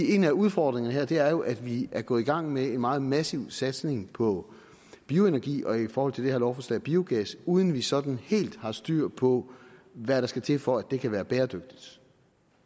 en af udfordringerne her er jo at vi er gået i gang med en meget massiv satsning på bioenergi og i forhold til det her lovforslag på biogas uden at vi sådan helt har styr på hvad der skal til for at det kan være bæredygtigt